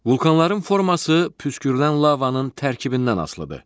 Vulcanların forması püskürülən lavanın tərkibindən asılıdır.